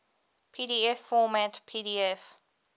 pdf format pdf